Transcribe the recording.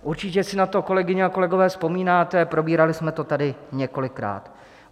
Určitě si na to, kolegyně a kolegové, vzpomínáte, probírali jsme to tady několikrát.